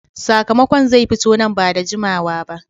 , sakamakon zai fito nan ba da jimawa ba